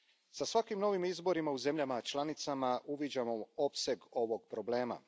Sa svakim novim izborima u zemljama članicama uviđamo opseg ovog problema.